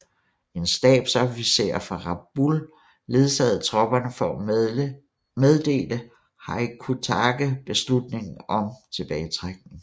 En stabsofficer fra Rabaul ledsagede tropperne for at meddele Hyakutake beslutningen om tilbagetrækning